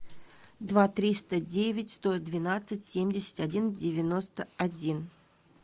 два триста девять сто двенадцать семьдесят один девяносто один